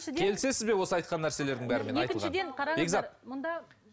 келісесіз бе осы айтқан нәрселердің бәріне айтылған бекзат